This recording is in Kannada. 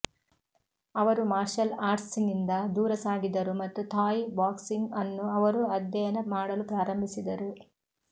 ಅವರು ಮಾರ್ಷಲ್ ಆರ್ಟ್ಸ್ನಿಂದ ದೂರ ಸಾಗಿದರು ಮತ್ತು ಥಾಯ್ ಬಾಕ್ಸಿಂಗ್ ಅನ್ನು ಅವರು ಅಧ್ಯಯನ ಮಾಡಲು ಪ್ರಾರಂಭಿಸಿದರು